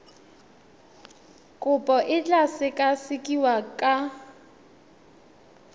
kopo e tla sekasekiwa ka